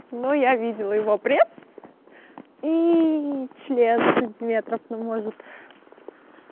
но я видела его пресс и член сантиметров ну может